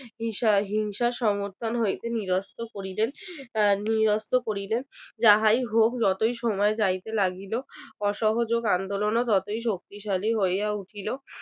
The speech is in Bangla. হিসা হিংসা সমর্থন হইতে নিরস্ত্র করিলেন আহ নিরস্ত্র করিলেন। যাহাই হোক যতই সময় যাইতে লাগিল অসহযোগ আন্দোলনও ততই শক্তিশালী হইয়া উঠিল